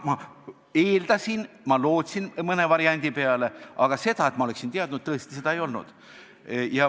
Ma eeldasin ja lootsin mõnda varianti, aga seda, et ma oleksin teadnud, seda tõesti ei olnud.